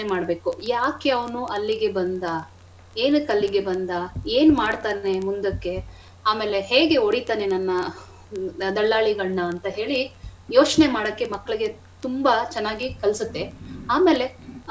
ಯೋಚ್ನೆ ಮಾಡ್ಬೇಕು ಯಾಕೆ ಅವ್ನು ಅಲ್ಲಿಗೆ ಬಂದ ಏನಕ್ ಅಲ್ಲಿಗೆ ಬಂದ ಏನ್ ಮಾಡ್ತಾನೇ ಮುಂದಕ್ಕೆ ಆಮೇಲೆ ಹೇಗೆ ಹೊಡೀತಾನೇ ನನ್ನ ದಲ್ಲಾಳಿಗಳನ್ನ ಅಂತ ಹೇಳಿ ಯೋಚ್ನೆ ಮಾಡಕ್ಕೆ ಮಕ್ಳಿಗೆ ತುಂಬಾ ಚೆನ್ನಾಗಿ ಕಲ್ಸತ್ತೇ.